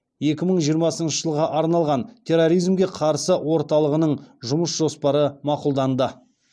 екі мың жиырмасыншы жылға арналған терроризмге қарсы орталығының жұмыс жоспары мақұлданды